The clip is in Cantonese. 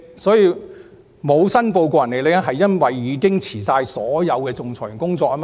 所謂沒有申報個人利益，是因為她已經辭去所有仲裁員的工作。